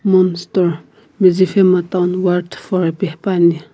mon store medziphema town ward four ipi hepuani.